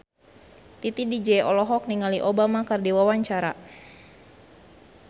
Titi DJ olohok ningali Obama keur diwawancara